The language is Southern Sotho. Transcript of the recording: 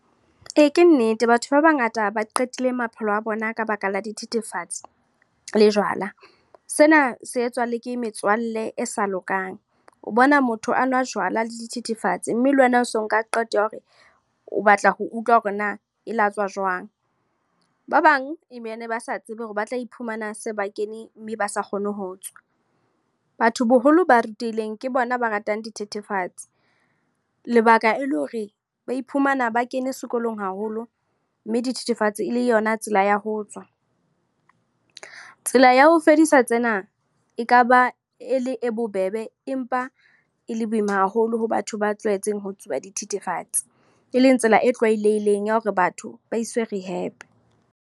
Ee, ke nnete. Batho ba bangata ba qetile maphelo a bona ka baka la dithethefatsi, le jwala. Sena se etswa le ke metswalle e sa lokang. O bona motho a nwa jwala le dithethefatsi mme le wena o so nka qeto ya hore, o batla ho utlwa hore na e latswa jwang. Ba bang emene ba sa tsebe hore ba tla iphumana se ba kene, mme ba sa kgone ho tswa. Batho boholo ba rutehileng ke bona ba ratang dithethefatsi. Lebaka e le hore, ba iphumana ba kene sekolong haholo mme dithethefatsi e le yona tsela ya ho tswa. Tsela ya ho fedisa tsena, ekaba e le e bobebe empa e le boima haholo ho batho ba tlwaetseng ho tsuba dithethefatsi. E leng tsela e tlwaelehileng ya hore batho ba iswe rehab.